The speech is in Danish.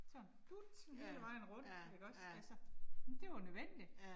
Sådan dut hele vejen rundt ikke også, altså. Det var nødvendigt